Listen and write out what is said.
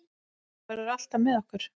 Þú verður alltaf með okkur.